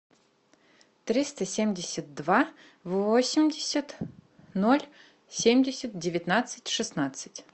триста семьдесят два восемьдесят ноль семьдесят девятнадцать шестнадцать